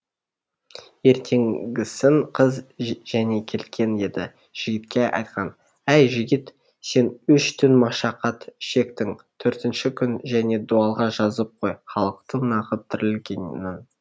ертеңгісін қыз және келген еді жігітке айтқан ай жігіт сен үш түн машақат шектің төртінші күн және дуалға жазып қой халықтың нағып тірілгенін